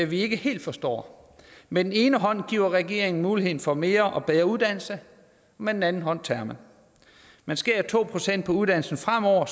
vi ikke helt forstår med den ene hånd giver regeringen muligheden for mere og bedre uddannelse med den anden hånd tager man man skærer to procent på uddannelsen fremover